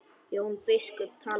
Jón biskup talaði lágt.